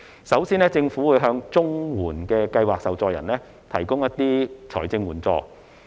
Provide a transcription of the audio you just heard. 首先，政府會向綜合社會保障援助計劃受助人提供財政援助。